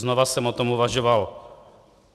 Znova jsem o tom uvažoval.